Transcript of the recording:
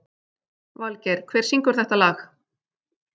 Valgeir, hver syngur þetta lag?